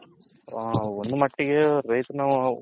ಒಂದ್ ಮಟ್ಟಗೆ ರೈತ್ಹರ್ ನಾವು